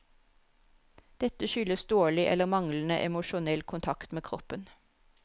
Dette skyldes dårlig eller manglende emosjonell kontakt med kroppen.